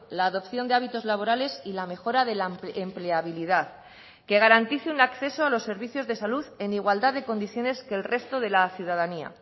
la adopción de hábitos laborales y la mejora de la empleabilidad que garantice un acceso a los servicios de salud en igualdad de condiciones que el resto de la ciudadanía